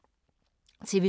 TV 2